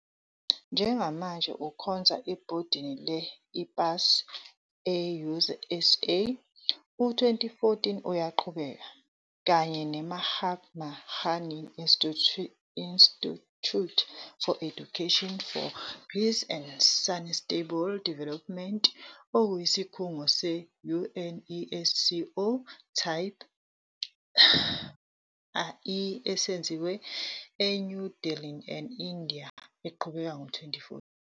Njengamanje ukhonza ebhodini le-IPAS, e-USA, u-2014 uyaqhubeka, kanye ne-Mahatma Gandhi Institute for Education for Peace and Sustainable Development, okuyisikhungo se-UNESCO Type I esizinze eNew Delhi, e-India, eqhubekayo ngo-2014.